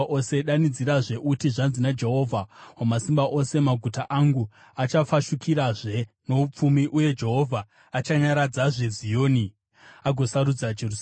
“Danidzirazve uti: Zvanzi naJehovha Wamasimba Ose, ‘Maguta angu achafashukirazve noupfumi, uye Jehovha achanyaradzazve Zioni uye agosarudza Jerusarema.’ ”